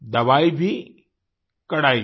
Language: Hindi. दवाई भी कड़ाई भी